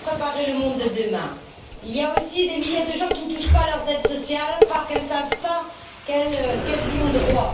Il faut préparer le monde de demain. Il y a aussi des milliers de personnes qui ne touchent pas leurs aides sociales parce qu'elles ne savent pas qu'elles y ont droit.